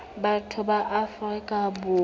batho ba afrika borwa bao